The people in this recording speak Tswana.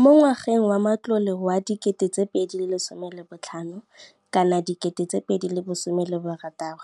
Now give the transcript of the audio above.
Mo ngwageng wa matlole wa 2015,16,